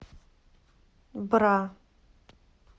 бра